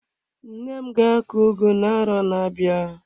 Nne m ga akọ ugu na-arọ na-abịa.